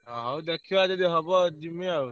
ଅଁ ହଉ ଦେଖିବା ଯଦି ହବ ଯିମି ଆଉ।